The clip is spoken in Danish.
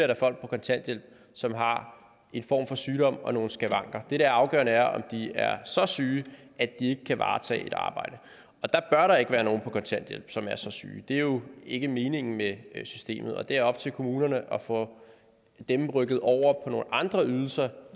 der folk på kontanthjælp som har en form for sygdom og nogle skavanker det der er afgørende er om de er så syge at de ikke kan varetage et arbejde og der bør ikke være nogen på kontanthjælp som er så syge det er jo ikke meningen med systemet og det er op til kommunerne at få dem rykket over på nogle andre ydelser